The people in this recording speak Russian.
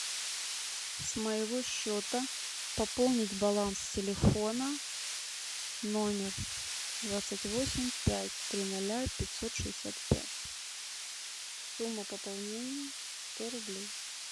с моего счета пополнить баланс телефона номер двадцать восемь пять три ноля пятьсот шестьдесят пять сумма пополнения сто рублей